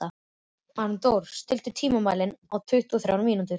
Arndór, stilltu tímamælinn á tuttugu og þrjár mínútur.